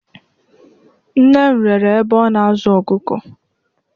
Nne m rere ebe ọ na-azụ ọkụkọ.